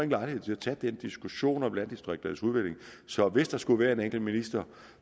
lejlighed til at tage en diskussion om landdistrikternes udvikling så hvis der skulle være en enkelt minister